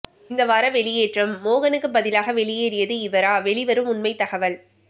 இந்த வார வெளியேற்றம் மோகனுக்கு பதிலாக வெளியேறியது இவரா வெளிவரும் உண்மை தகவல்